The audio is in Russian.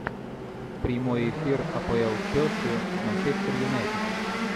прямой эфир апл челси с манчестер юнайтед